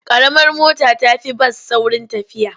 Ƙaramar mota ta fi bas saurin tafiya.